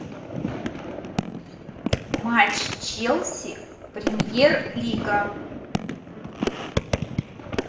матч челси премьер лига